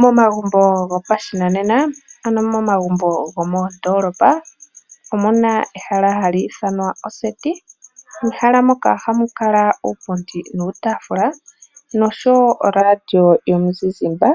Momagumbo gopashinanena ano momagumbo gomoondoolopa omu na ehala hali ithanwa oseti. Mehala moka ohamu kala uupundi nuutaafula nosho wo oradio yomuzizimba